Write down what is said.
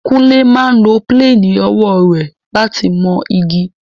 Kúnlé máa ń lo píléènì owó rẹ̀ láti mọ igi